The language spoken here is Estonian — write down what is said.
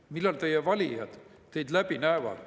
Millal teie valijad teid läbi näevad?